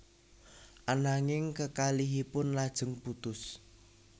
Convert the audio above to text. Ananging kekalihipun lajeng putus